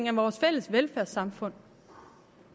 af vores fælles velfærdssamfund